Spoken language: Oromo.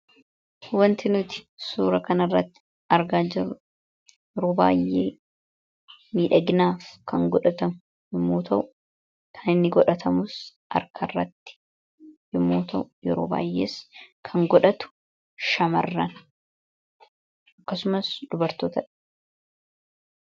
wanti nuti suura kana irratti argaa yeroo baayyee miidhaginaaf kan godhatamu yommuu ta'u kan inni godhatamus harka irratti yommuu ta'u yeroo baayyees kan godhatu shamarran akkasumaas dubartoota dha.